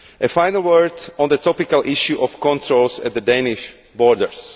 Finally, a word on the topical issue of controls at the Danish borders.